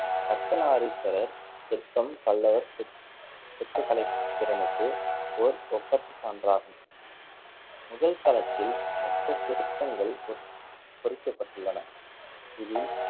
அர்த்தநாரீஸ்வரர் சிற்பம் பல்லவர் சிற்~ சிற்பக்கலைத்திறனுக்கு ஓர் ஒப்பற்ற சான்றாகும் முதல் தளத்தில் மொத்த சிற்ப்பங்கள் பொறி~ பொறிக்கப்பட்டுள்ளன. இதில்